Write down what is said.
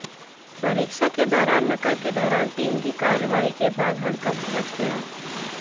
परीक्षा के दौरान नकल के दौरान टीम की कार्रवाई के बाद हड़कंप मच गया